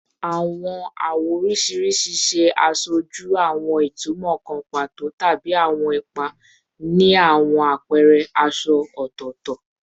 Awọn awọ oriṣiriṣi ṣe aṣoju awọn itumọ kan pato tabi awọn ipa ni awọn apẹrẹ aṣọ aṣọ ọtọtọ